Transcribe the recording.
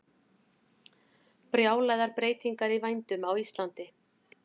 Brjálaðar breytingar í vændum á Íslandi